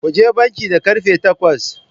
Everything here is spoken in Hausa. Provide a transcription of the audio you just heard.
Kuje banki da karfe takwas.